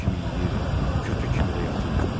Div kimi yeyirdim, kütük kimi də yatırdım.